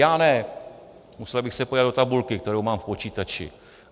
Já ne, musel bych se podívat do tabulky, kterou mám v počítači.